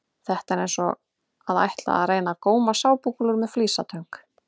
Þetta er eins og að ætla að reyna að góma sápukúlur með flísatöng!